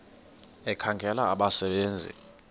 ekhangela abasebe nzi